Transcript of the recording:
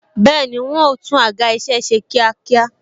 Bẹẹni, wọn o tún àga isẹ ṣe kíákíá